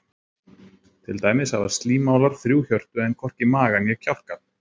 Til dæmis hafa slímálar þrjú hjörtu en hvorki maga né kjálka.